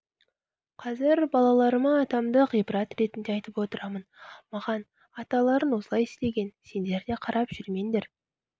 қазір балаларыма атамды ғибрат ретінде айтып отырамын маған аталарың осылай істеген сендер де қарап жүрмеңдер